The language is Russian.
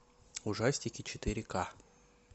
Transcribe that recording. ужастики четыре ка